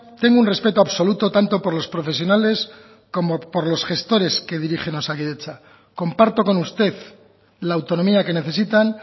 tengo un respeto absoluto tanto por los profesionales como por los gestores que dirigen osakidetza comparto con usted la autonomía que necesitan